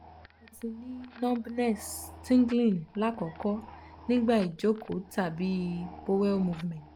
mo ti ni numbness/tingling lakoko nigba ijoko tabi um bowel movement